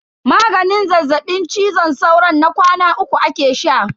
Maganin zazzaɓin cizon sauron na kwana uku ake sha.